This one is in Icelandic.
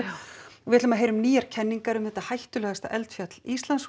við ætlum að heyra um nýjar kenningar um þetta hættulegasta eldfjall Íslands og